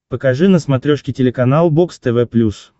покажи на смотрешке телеканал бокс тв плюс